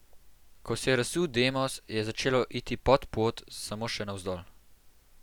Ko se je razsul Demos, je začelo iti pod pod, samo še navzdol.